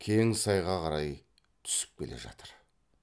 кең сайға қарай түсіп келе жатыр